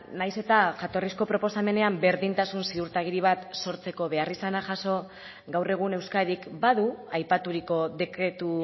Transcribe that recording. nahiz eta jatorrizko proposamenean berdintasun ziurtagiri bat sortzeko beharrizana jaso gaur egun euskadik badu aipaturiko dekretu